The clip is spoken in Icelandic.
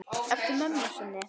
Eftir mömmu sinni.